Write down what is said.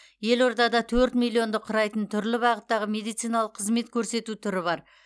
елордада төрт миллионды құрайтын түрлі бағыттағы медициналық қызмет көрсету түрі бар